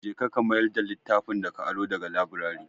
Je ka, ka mayar da littafin da ka aro da ga laburare.